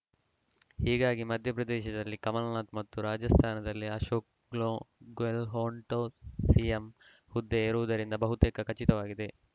ಹೀಗಾಗಿ ಮಧ್ಯಪ್ರದೇಶದಲ್ಲಿ ಕಮಲ್‌ನಾಥ್‌ ಮತ್ತು ರಾಜಸ್ಥಾನದಲ್ಲಿ ಅಶೋಕ್‌ ಗ್ಲೋ ಗೆಹ್ಲೋಟ್‌ ಸಿಎಂ ಹುದ್ದೆ ಏರುವುದು ಬಹುತೇಕ ಖಚಿತವಾಗಿದೆ